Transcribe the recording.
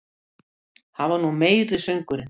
Það var nú meiri söngurinn!